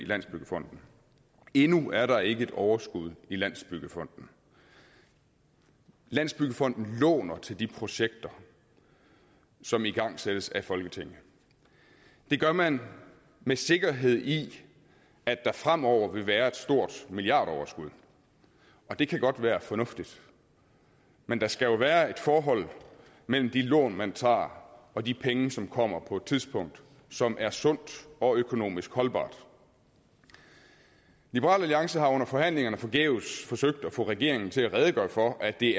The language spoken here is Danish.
landsbyggefonden endnu er der ikke et overskud i landsbyggefonden landsbyggefonden låner til de projekter som igangsættes af folketinget det gør man med sikkerhed i at der fremover vil være et stort milliardoverskud og det kan godt være fornuftigt men der skal jo være et forhold mellem de lån man tager og de penge som kommer på et tidspunkt som er sundt og økonomisk holdbart liberal alliance har under forhandlingerne forgæves forsøgt at få regeringen til at redegøre for at det